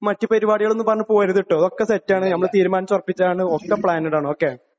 മറ്റ് പരിപാടികളെന്നും പറഞ്ഞ് പോവരുത്, ട്ടോ..ഒക്കെ സെറ്റ് ആണ് ഞമ്മള് തീരുമാനിച്ച് ഉറപ്പിച്ചതാണ് ,ഒക്കെ പ്ലാൻഡ് ആണ്.ഓക്കേ ?